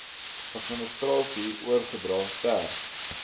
administrasie oorgedra ter